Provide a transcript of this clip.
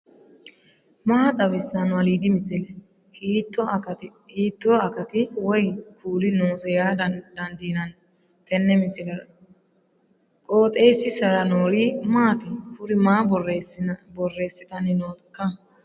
maa xawissanno aliidi misile ? hiitto akati woy kuuli noose yaa dandiinanni tenne misilera? qooxeessisera noori maati ? kuri maa borreessitanni nooikka